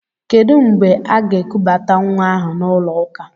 Kedụ mgbe aga-ekubata nwa ahụ n'ụlọ ụka?